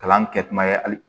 Kalan kɛ tuma ye hali